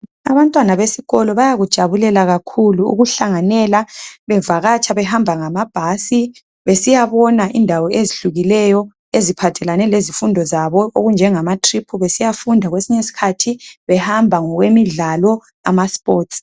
Abantwana besikolo bayakujabulela kakhulu ukuhlanganela bevakatsha behamba ngamabhasi besiya bona indawo ezehlukeneyo eziphathelane lezifundo zabo okunjengamatrip besiya funda kwesinye isikhathi behamba ngokwemidlalo amasports.